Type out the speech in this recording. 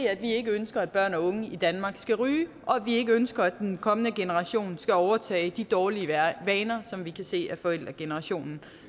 at vi ikke ønsker at børn og unge i danmark skal ryge og at vi ikke ønsker at den kommende generation skal overtage de dårlige vaner som vi kan se forældregenerationen